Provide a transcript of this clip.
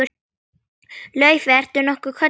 Laufey- ertu nokkuð kölluð Lulla?